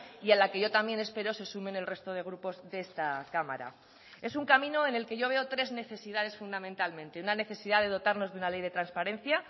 y a la que yo también espero se sumen el resto de grupos de esta cámara es un camino en el que yo veo tres necesidades fundamentalmente una necesidad de dotarnos de una ley de transparencia